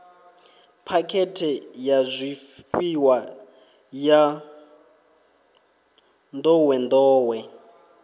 phakhethe ya zwifhiwa ya nḓowenḓowe